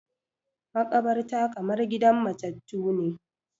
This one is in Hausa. Maƙabarta kamar gidan matattu ne